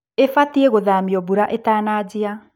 ĩbaitie gũthamio mbura ĩtanajia.